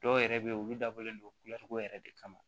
Dɔw yɛrɛ be yen olu dabɔlen don yɛrɛ de kama